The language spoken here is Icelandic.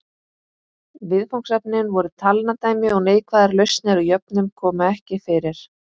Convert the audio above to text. Viðfangsefnin voru talnadæmi og neikvæðar lausnir á jöfnum komu ekki fyrir.